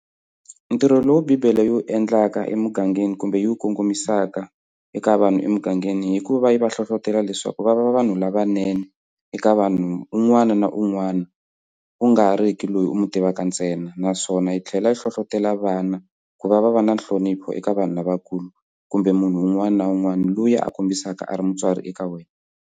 Ntirho lowu Bibele yi wu endlaka emugangeni kumbe yi wu kongomisaka eka vanhu emugangeni hi ku va yi va hlohlotelo leswaku va va va vanhu lavanene eka vanhu un'wana na un'wana ku nga ri ki loyi u n'wi tivaka ntsena naswona yi tlhela yi hlohlotelo vana ku va va va na nhlonipho eka vanhu lavakulu kumbe munhu un'wana na un'wana loyi a kombisaka a ri mutswari eka wena.